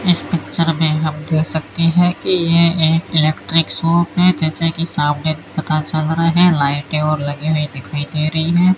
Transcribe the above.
इस पिक्चर में हम देख सकते हैं कि ये एक इलेक्ट्रिक शॉप है जैसे कि सामने पता चल रहा है लाइटें और लगीं हुई दिखाई दे रहीं हैं।